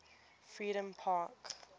freedompark